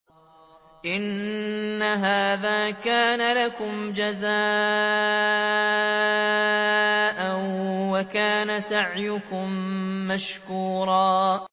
إِنَّ هَٰذَا كَانَ لَكُمْ جَزَاءً وَكَانَ سَعْيُكُم مَّشْكُورًا